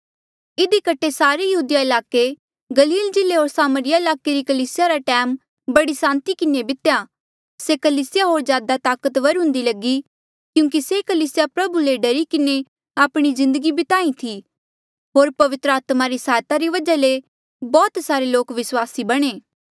इधी कठे सारे यहूदिया ईलाके गलील जिल्ले होर सामरिया ईलाके री कलीसिया रा टैम बड़ी सांति किन्हें बितेया से कलीसिया होर ज्यादा ताकतवर हुंदी लगी क्यूंकि से कलीसिया प्रभु ले डरी किन्हें आपणी जिन्दगी बिताहीं थी होर पवित्र आत्मा री सहायता री वजहा ले बौह्त सारे लोक विस्वासी बणे